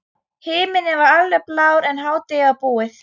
Himinninn var alveg blár en hádegið var búið.